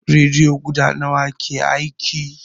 Rediyo guda nawa ke aiki?